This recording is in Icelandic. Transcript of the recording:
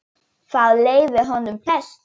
Þá leið honum best.